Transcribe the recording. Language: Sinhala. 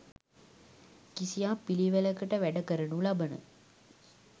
කිසියම් පිළිවෙළකට වැඩ කරනු ලබන